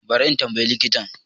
Bari in tambaye likita